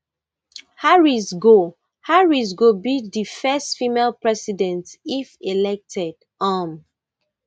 harris go harris go be di first female president if elected um